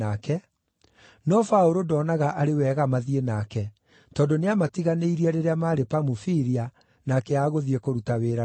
no Paũlũ ndonaga arĩ wega mathiĩ nake, tondũ nĩamatiganĩirie rĩrĩa maarĩ Pamufilia na akĩaga gũthiĩ kũruta wĩra nao.